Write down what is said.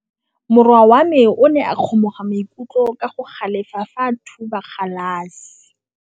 Morwa wa me o ne a kgomoga maikutlo ka go galefa fa a thuba galase.